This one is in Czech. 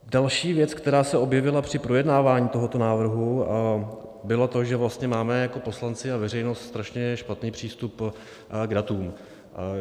Další věc, která se objevila při projednávání tohoto návrhu, bylo to, že máme jako poslanci a veřejnost strašně špatný přístup k datům.